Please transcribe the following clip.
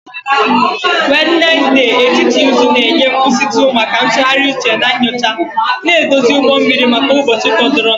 Wednesde, etiti izu, na-enye nkwụsịtụ maka ntụgharị uche na nyocha, na-edozi ụgbọ mmiri maka ụbọchị fọdụrụnụ